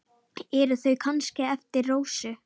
Eru þau kannski eftir Rósu?